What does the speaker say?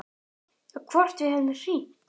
Já, hvort við hefðum hringt.